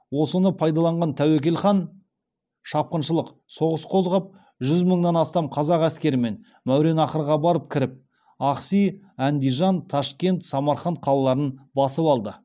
осыны пайдаланған тәуекел хан шапқыншылық соғыс қозғап жүз мыңнан астам қазақ әскерімен мәуереннахрға барып кіріп ахси әндижан ташкент самарқанд қалаларын басып алды